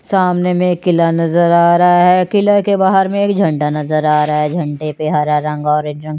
सामने में एक किला नज़र आ रहा है किले के बाहर में एक झंडा नज़र आ रहा है झंडे पे हरा रंग ऑरेंज रंग --